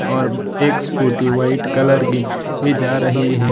और एक scooty white colour की भी जा रही है।